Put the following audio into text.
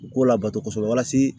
U k'u labato kosɛbɛ walasa